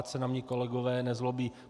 Ať se na mě kolegové nezlobí.